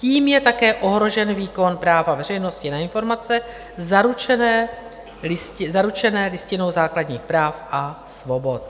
Tím je také ohrožen výkon práva veřejnosti na informace zaručené listinou základních práv a svobod.